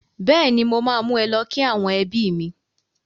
Bẹ́ẹ̀ni mo máa mú ẹ lọ kí àwọn ẹbí mi